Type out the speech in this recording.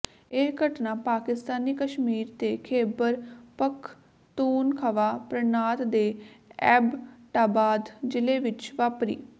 ਇਹ ਘਟਨਾ ਪਾਕਿਸਤਾਨੀ ਕਸ਼ਮੀਰ ਦੇ ਖੈਬਰ ਪਖਤੂਨਖਵਾ ਪ੍ਰਾਂਤ ਦੇ ਐਬਟਾਬਾਦ ਜ਼ਿਲੇ ਵਿੱਚ ਵਾਪਰੀ